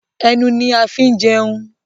Ẹnu ni a fin jẹun